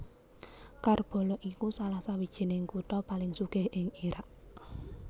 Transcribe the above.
Karbala iku salah sawijining kutha paling sugih ing Irak